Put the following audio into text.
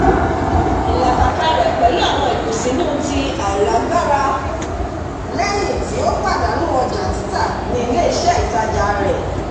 ìlàkàkà rẹ̀ pẹ̀lú àwọn ìkùnsínú ti àìlágbára lẹ́yìn tí ó pàdánù ojà títa ni ilé-iṣẹ́ ìtajà rẹ̀